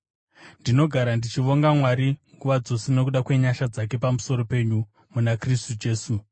Ndinogara ndichivonga Mwari nguva dzose nokuda kwenyasha dzake pamusoro penyu muna Kristu Jesu.